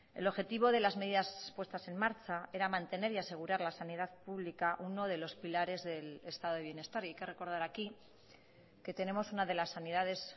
el objetivo de las medidas puestas en marcha era mantener y asegurar la sanidad pública uno de los pilares del estado de bienestar y hay que recordar aquí que tenemos una de las sanidades